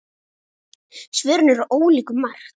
Svörin eru ólík um margt.